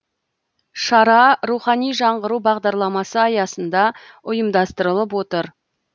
шара рухани жаңғыру бағдарламасы аясында ұйымдастырылып отыр